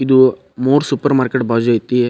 ಇದು ಮೂರು supermarket ಬಾಜು ಅಯ್ತಿ .